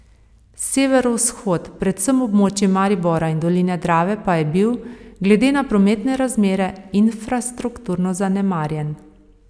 Severovzhod, predvsem območji Maribora in doline Drave pa je bil, glede na prometne razmere, infrastrukturno zanemarjen.